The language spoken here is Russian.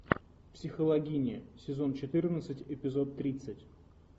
психологини сезон четырнадцать эпизод тридцать